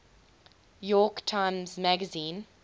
york times magazine